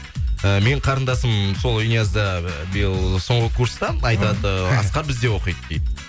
э менің қарындасым сол инязда биыл соңғы курста айтады асқар бізде оқиды дейді